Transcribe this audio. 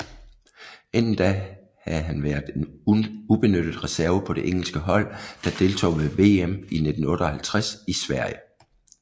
Inden da havde han været en ubenyttet reserve på det engelske hold der deltog ved VM i 1958 i Sverige